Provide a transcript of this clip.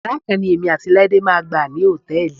Yàrá kan ni èmi àti Láídé máa gbà ní hòtẹ́ẹ̀lì.